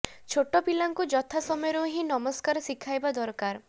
ଛୋଟ ପିଲାଙ୍କୁ ଯଥା ସମୟରୁ ହିଁ ନମସ୍କାର ଶିଖାଇବା ଦରକାର